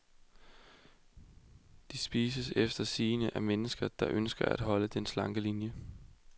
De spises efter sigende af mennesker, der ønsker at holde den slanke linie.